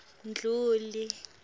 mdluli